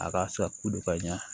A ka sako do ka ɲa